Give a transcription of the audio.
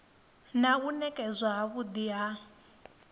na u nekedzwa havhui ha